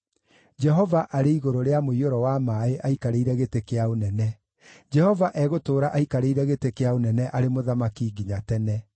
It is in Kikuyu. Jehova arĩ igũrũ rĩa mũiyũro wa maaĩ aikarĩire gĩtĩ kĩa ũnene; Jehova egũtũũra aikarĩire gĩtĩ kĩa ũnene arĩ Mũthamaki nginya tene.